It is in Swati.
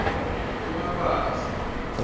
kumabasa